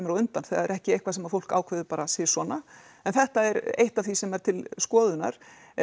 á undan þetta er ekki eitthvað sem að fólk ákveður bara sí svona en þetta er eitt af því sem er til skoðunnar